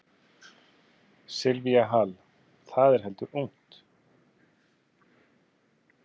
Silvía Hall: Það er heldur ungt?